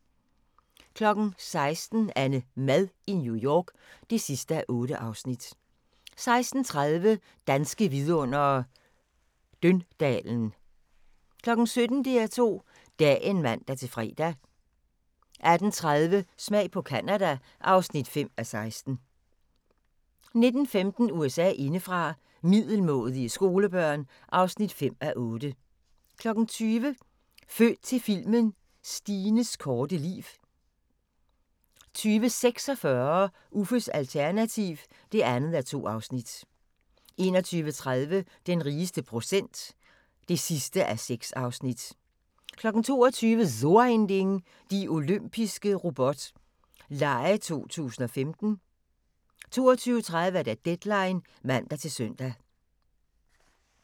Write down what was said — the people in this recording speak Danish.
16:00: AnneMad i New York (8:8) 16:30: Danske vidundere: Døndalen 17:00: DR2 Dagen (man-fre) 18:30: Smag på Canada (5:16) 19:15: USA indefra: Middelmådige skolebørn (5:8) 20:00: Født til filmen – Stines korte liv 20:46: Uffes alternativ (2:2) 21:30: Den rigeste procent (6:6) 22:00: So ein Ding: De Olympiske Robot Lege 2015 22:30: Deadline (man-søn)